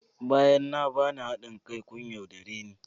Bayan na bani hadin kai kun yaudare ni